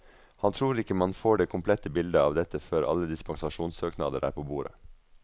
Han tror ikke man får det komplette bildet av dette før alle dispensasjonssøknader er på bordet.